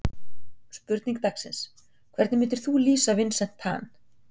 Spurning dagsins: Hvernig myndir þú lýsa Vincent Tan?